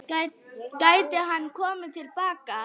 Gæti hann komið til baka?